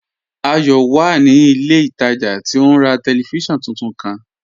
Ayọ wà ní ilẹ̀ ìtajà tí ó n rà tẹlifísiọ̀nù tuntun kan.